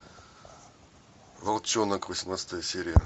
волчонок восемнадцатая серия